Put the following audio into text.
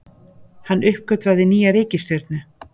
Hann uppgötvaði nýja reikistjörnu!